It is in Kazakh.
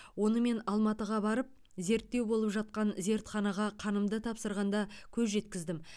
оны мен алматыға барып зерттеу болып жатқан зертханаға қанымды тапсырғанда көз жеткіздім